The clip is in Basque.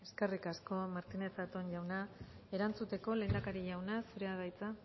eskerrik asko martínez zatón jauna erantzuteko lehendakari jauna zurea da hitza